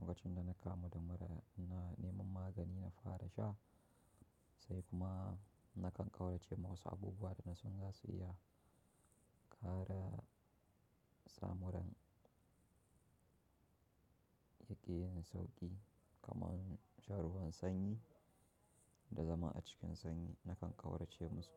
Lokacin da na kamu da mura ina neman magani in fara sha sai kuma nakan kauracewa wasu abubuwa da nasan zasu iya ƙara sa muran yake yin sauƙi, kamar shan ruwan sanyi da zama a cikin sanyi. Na kan ƙaurace musu.